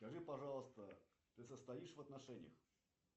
скажи пожалуйста ты состоишь в отношениях